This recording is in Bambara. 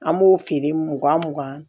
An b'o feere mugan mugan